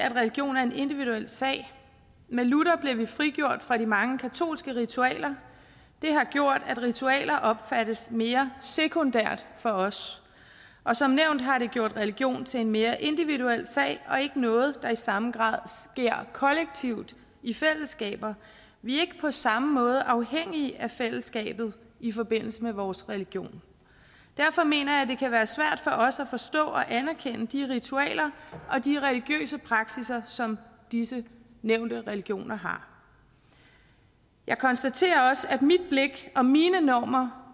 at religion er en individuel sag med luther blev vi frigjort fra de mange katolske ritualer det har gjort at ritualer opfattes mere sekundært for os og som nævnt har det gjort religion til en mere individuel sag og ikke noget der i samme grad sker kollektivt i fællesskaber vi er ikke på samme måde afhængige af fællesskabet i forbindelse med vores religion derfor mener jeg at det kan være svært for os at forstå og anerkende de ritualer og de religiøse praksisser som disse nævnte religioner har jeg konstaterer også at mit blik og mine normer